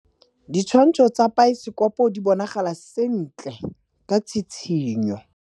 Ditshwantshô tsa biosekopo di bonagala sentle ka tshitshinyô.